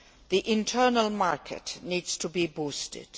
the Internal Market needs to be boosted.